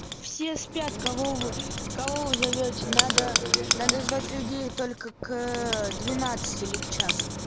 все спят кого вы кого вы зовёте надо надо звать людей только к двенадцати или к часу